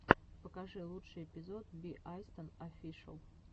покажи лучший эпизод би айстон офишэл